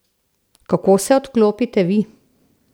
Kako se odklopite vi?